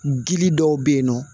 Gili dɔw be yen nɔ